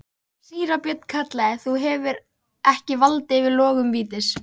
Síra Björn kallaði: Þú hefur ekki vald yfir logum vítis.